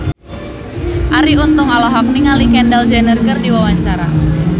Arie Untung olohok ningali Kendall Jenner keur diwawancara